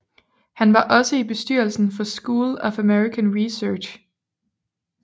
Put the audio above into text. Han var også i bestyrelsen for School of American Research